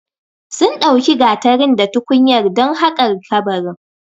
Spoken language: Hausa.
Sun ɗauki gatarin da tukunyar dan haƙar kabarin